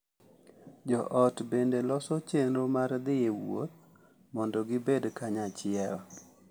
Jo ot bende loso chenro mar dhi e wuoth mondo gibed kanyachiel ,